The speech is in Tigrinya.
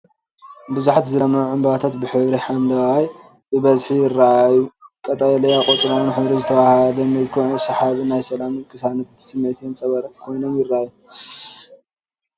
ብዙሓት ዝለምዑ ዕምባባታት ብሕብሪ ሓምለ ብብዝሒ ይረኣዩ። ቀጠልያ ቆጽሎምን ሕብሩ ዝተዋሃሃደ ምልኩዕን ሰሓብን ናይ ሰላምን ቅሳነትን ስምዒት የንጸባርቕ ኮይኖም ይራኣዩ።